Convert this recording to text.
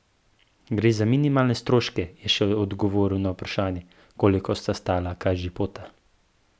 Gre za minimalne stroške, je še odgovoril na vprašanje, koliko sta stala kažipota.